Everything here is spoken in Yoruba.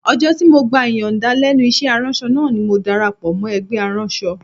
Ọjọ́ tí mo gba ìyànda lẹ́nu iṣẹ́ aránṣọ náà ni mo darapọ̀ mọ́ ẹgbẹ́ aránṣọ